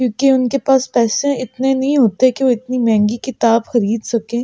क्योंकि उनके पास पैसें इतने नहीं होते कि वह इतनी महँगी किताब ख़रीद सके ।